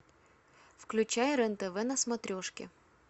включай рен тв на смотрешке